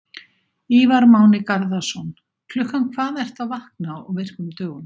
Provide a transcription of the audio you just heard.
Ívar Máni Garðarsson Klukkan hvað ertu að vakna á virkum dögum?